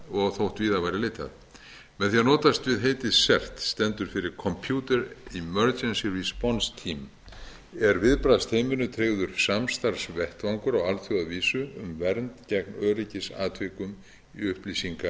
og þótt víðar væri leitað með því að notast við heitið cert stendur fyrir computer emergency responce team er viðbragðstreyminu tryggður samstarfsvettvangur á alþjóðavísu um vernd gegn öryggisatvikum